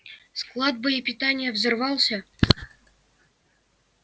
склад боепитания взорвался